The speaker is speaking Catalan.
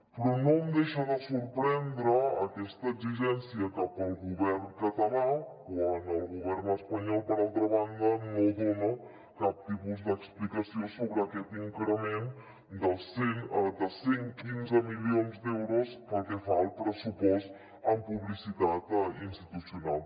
però no em deixa de sorprendre aquesta exigència cap al govern català quan el govern espanyol per altra banda no dona cap tipus d’explicació sobre aquest incre·ment de cent i quinze milions d’euros pel que fa al pressupost en publicitat institucional